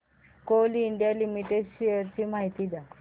Coal India limited shares ची माहिती द्या